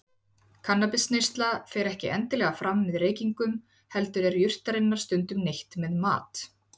Kannabisneyslan fer ekki endilega fram með reykingum heldur er jurtarinnar stundum neytt með mat.